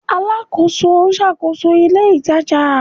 Alakoso n ṣakoso ile itaja